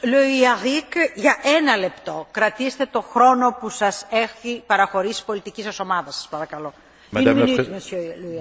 Madame la Présidente, Monsieur le Commissaire, vous venez de dire que la Commission accordait une grande importance au logement social.